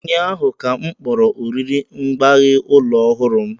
Ụnyaahụ ka m kpọrọ oriri mgbaghe ụlọ ọhụrụ m